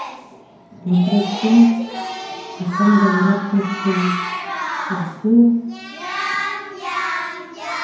смотреть фильм о чем говорят мужчины россия